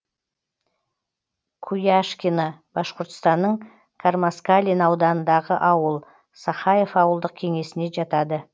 куяшкино башқұртстанның кармаскалин ауданындағы ауыл сахаев ауылдық кеңесіне жатады